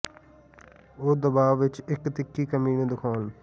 ਅਤੇ ਉਹ ਦਬਾਅ ਵਿੱਚ ਇੱਕ ਤਿੱਖੀ ਕਮੀ ਨੂੰ ਦਿਖਾਉਣ